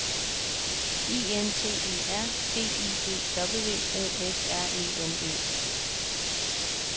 I N T E R V I E W O F R E N E